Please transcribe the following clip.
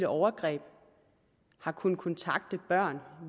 overgreb har kunnet kontakte børn